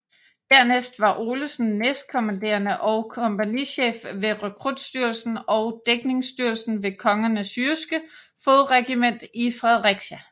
Dernæst var Olesen næstkommanderende og kompagnichef ved rekrutstyrken og dækningsstyrken ved Kongens Jyske Fodregiment i Fredericia